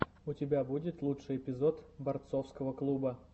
у тебя будет лучший эпизод борцовского клуба